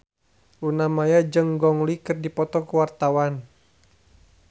Luna Maya jeung Gong Li keur dipoto ku wartawan